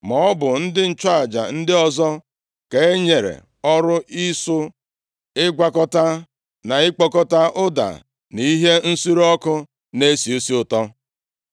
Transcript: Ma ọ bụ ndị nchụaja ndị ọzọ ka e nyere ọrụ ịsụ, ịgwakọta na ịkpụkọta ụda na ihe nsure ọkụ na-esi isi ụtọ.